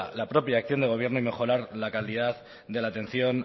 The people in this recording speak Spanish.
la propia acción de gobierno y mejorar la calidad de la atención